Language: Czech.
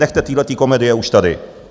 Nechte téhleté komedie už tady.